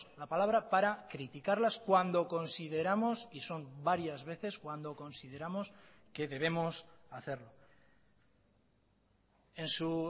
la palabra para criticarlas cuando consideramos y son varias veces cuando consideramos que debemos hacerlo en su